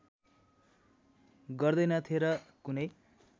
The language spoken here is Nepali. गर्दैनथे र कुनै